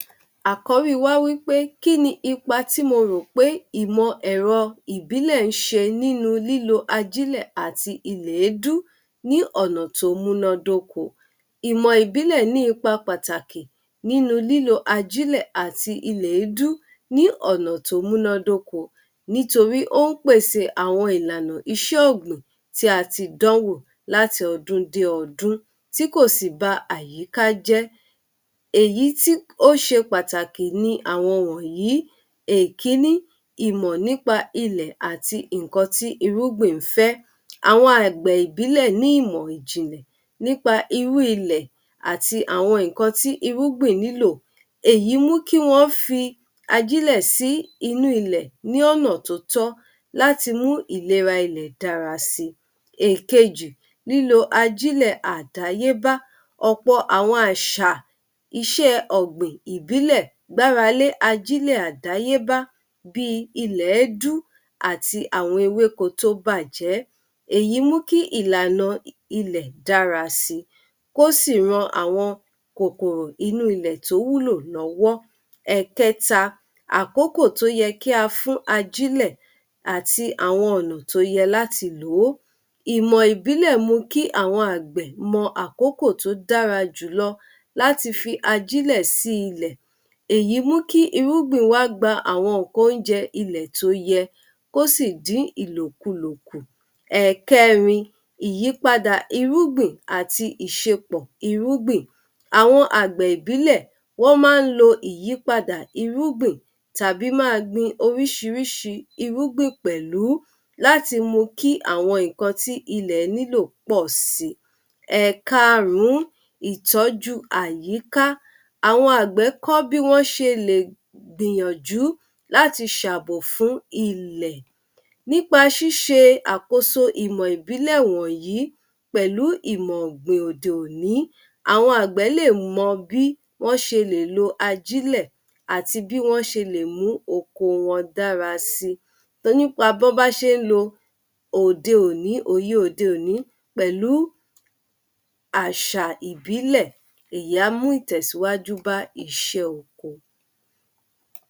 Àkọ́rí wa wí pé kí ni ipa tí mo rò pé ìmọ̀-ẹ̀rọ ìbílẹ̀ ń ṣe nínú lílo ajílẹ̀ àti ilèédú ní ọ̀nà tó múnádóko. Ìmọ̀-ìbílẹ̀ ní ipa pàtàkì nínú lílo ajílẹ̀ àti ilẹ̀édu ní ọ̀nà tó múnádóko, nítorí ó ń pèse àwọn ìlànà iṣẹ́ ọ̀gbìn tí a ti dánwò láti ọdún dé ọdún tí kò sì ba àyíká jẹ́. Èyí tí ó ṣe pàtàkì ni àwọn wọ̀nyí: Èkíní, ìmọ̀ nípa ilẹ̀ àti nǹkan tí irúgbìn ń fẹ́: Àwọn àgbẹ̀ ìbílẹ̀ ní ìmọ̀ ìjìnlẹ̀ nípa irú ilẹ̀ àti àwọn nǹkan tí irúgbìn nílò. Èyí mú kí wọ́n fi ajílẹ̀ sí inú ilẹ̀ ní ọ̀nà tó tọ́ láti mú ìlera ilẹ̀ dára si. Èkejì, lílo ajílẹ̀ àdáyébá: Ọ̀pọ̀ àwọn àṣà, iṣẹ́ ọ̀gbìn ìbílẹ̀ gbáralé ajílẹ̀ àdáyébá bí i ilẹ̀édu àti àwọn ewéko tó bàjẹ́. Èyí mú kí ìlànà ilẹ̀ dára sí, kó sì ran àwọn kòkòrò inú ilẹ̀ tó wúlò lọ́wọ́. Ẹ̀kẹta, àkókò tó yẹ kí a fún ajílẹ̀ àti àwọn ọ̀nà tó yẹ láti lò ó: Ìmọ̀ ìbílẹ̀ mu kí àwọn àgbẹ̀ mọ àkókò tó dára jùlọ láti fi ajílẹ̀ sí ilẹ̀. Èyí mú kí irúgbìn wa gba àwọn nǹkan oúnjẹ ilẹ̀ tó yẹ, kó sì dín ìlòkulò kù. Ẹ̀kẹrin, ìyípadà irúgbìn àti ìṣepọ̀ irúgbìn: Àwọn àgbẹ̀ ìbílẹ̀ wọ́n máa ń lo ìyípadà irúgbìn tàbí máa gbin oríṣiríṣi irúgbìn pẹ̀lú, láti mú kí àwọn nǹkan tí ilẹ̀ nílò pọ̀ si. Ẹ̀karùn-ún, ìtọ́jú àyíká: Àwọn àgbẹ̀ kọ́ bí wọ́n ṣe lè gbìyànjú láti ṣàbò fún ilẹ̀. Nípa ṣíṣe àkóso ìmọ̀ ìbílẹ̀ wọ̀nyí, pẹ̀lú ìmọ̀ ọ̀gbìn òde-òní, àwọn àgbẹ̀ lè mọ bí wọ́n ṣe lè lo ajílẹ̀ àti bí wọ́n ṣe lè mú oko wọn dára si. To ní pa bọ́ bá ṣe ń lo òde-òní, òye òde-òní pẹ̀lú àṣà ìbílẹ̀, ìyẹn á mú ìtẹ́síwájú bá iṣẹ́ oko.